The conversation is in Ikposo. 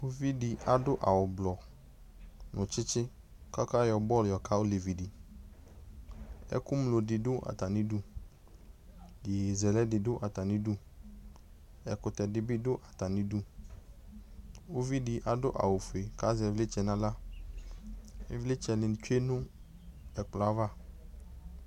Uvidɩ adʋ awʋblɔ nʋ tsitsi k'ɔka yɔ bɔlʋ yɔka olevidɩ Ɛkʋŋlo dɩ dʋ atamidu , iyeyezɛlɛ dɩ dʋ atamidu Ɛkʋtɛ dɩ bɩ dʋ atamidu , uvidɩ adʋ awʋfue k'azɛ ɩvlɩtsɛ n'aɣla ; ɩvlɩtsɛnɩ tsue nʋ ɛkplɔɛ ava